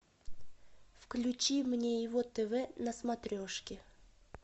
включи мне его тв на смотрешке